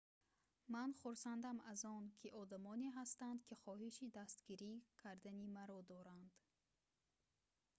ман хурсандам аз он ки одамоне ҳастанд ки хоҳиши дастгирӣ кардани маро доранд